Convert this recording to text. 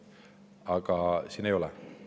Aga ei ole.